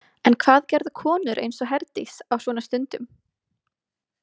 En hvað gerðu konur eins og Herdís á svona stundum?